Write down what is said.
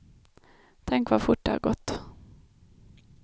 Tänk vad fort det har gått.